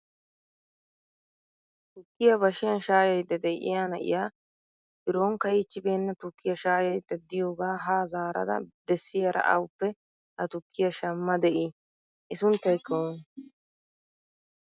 tukkiya bashshiyan shaayayda de'iyaa na'iyaa biro ka''ichcibeena tukkiya shaayayda diyooga ha zaarada dessiyaara awuppe ha tukkiya shamma de'ii? i sunttaykka oone?